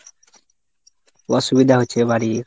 অসুবিধা হচ্ছে বাড়ির।